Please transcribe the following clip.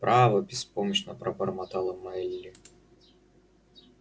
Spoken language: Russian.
право беспомощно пробормотала мелли